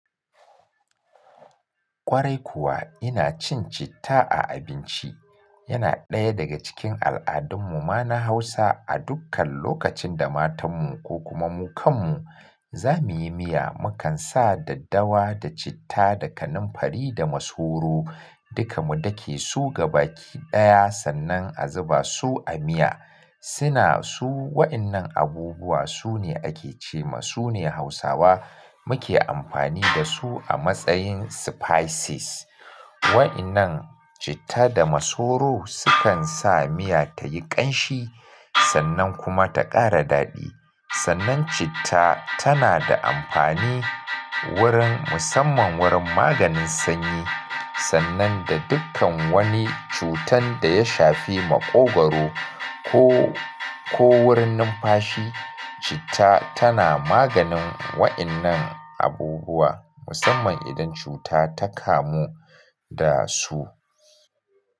Kwarai kuwa ina cin citta a abinci. Yana ɗaya daga cikin al'adun mu ma na Hausa a dukkan lokacin da matan mu ko kuma mu kan mu za muyi miya, mu kan sa daddawa da citta da kanamfari da masoro. Duka mu dake su gaba ki ɗaya sannan a zuba su a miya. Suna su wa'innan abubuwa su ne ake ce ma su ne Hausawa muke amfani da su a matsayin spices. Wa'innan citta da masoro su kan sa miya tayi ƙanshi sannan kuma ta ƙara daɗi. Sannan citta tana da amfani wurin musamman wurin maganin sanyi sannan da dukkan wani cutan da ya shafi maƙogwaro ko, ko wurin numfashi citta tana maganin wa'innan abubuwa musamman idan cuta ta kamu da su.